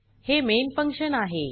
हे main function आहे